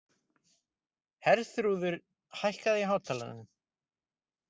Herþrúður, hækkaðu í hátalaranum.